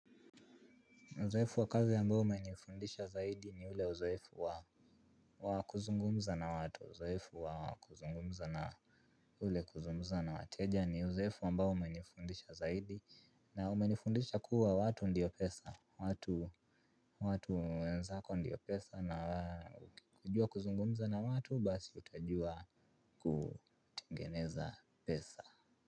Uzoefu wa kazi ambao umenifundisha zaidi ni ule uzoefu wa kuzungumza na watu. Uzoefu wa kuzungumza na ule kuzungumza na wateja ni uzoefu ambao umenifundisha zaidi na umenifundisha kuwa watu ndiyo pesa. Watu wenzako ndiyo pesa na kujua kuzungumza na watu basi utajua kutengeneza pesa.